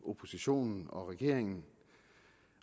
oppositionen og regeringen